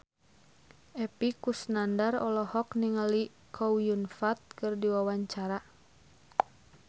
Epy Kusnandar olohok ningali Chow Yun Fat keur diwawancara